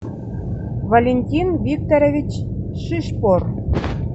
валентин викторович шишкор